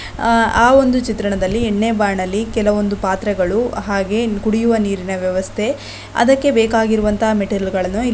ಆ ಆ ಒಂದು ಚಿತ್ರಣದಲ್ಲಿ ಎಣ್ಣೆ ಬಾಣಲ್ಲಿ ಕೆಲವೊಂದು ಪಾತ್ರೆಗಳು ಹಾಗೆ ಕುಡಿಯುವ ನೀರಿನ ವ್ಯವಸ್ಥೆ ಅದಕ್ಕೆ ಬೇಕಾಗಿರುವಂತ ಮೆಟೀರಿಯಲ್ ಗಳನ್ನು ಇ --